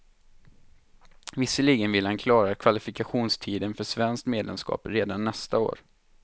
Visserligen vill han klara kvalifikationstiden för svenskt medlemskap redan nästa år.